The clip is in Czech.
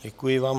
Děkuji vám.